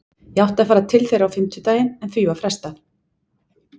Ég átti að fara til þeirra á fimmtudaginn en því var frestað.